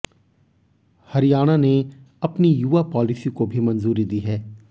हरियाणा ने अपनी युवा पॉलिसी को भी मंजूरी दी है